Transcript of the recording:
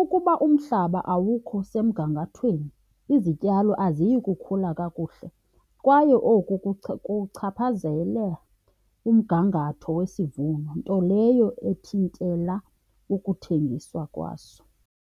Ukuba umhlaba awukho semgangathweni izityalo aziyi kukhula kakuhle. Kwaye oku kuchaphazela umgangatho wesivuno, nto leyo ethintela ukuthengiswa kwaso.